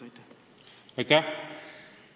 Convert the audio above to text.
Aitäh!